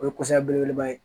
O ye kɔsa belebeleba ye